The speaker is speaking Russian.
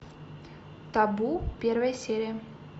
табу первая серия